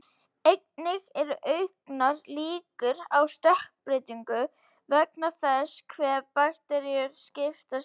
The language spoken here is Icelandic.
Einnig eru auknar líkur á stökkbreytingu vegna þess hve bakteríur skipta sér ört.